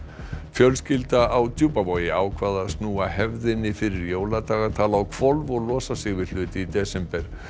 fjölskylda á Djúpavogi ákvað að snúa hefðinni fyrir jóladagatal á hvolf og losa sig við hluti í desember